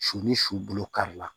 Su ni su bolo kari la